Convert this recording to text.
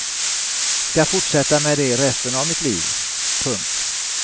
Ska fortsätta med det resten av mitt liv. punkt